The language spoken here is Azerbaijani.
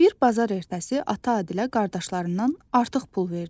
Bir bazar ertəsi ata Adilə qardaşlarından artıq pul verdi.